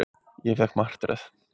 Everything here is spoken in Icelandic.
Ég fékk martröð.